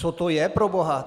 Co to je, proboha?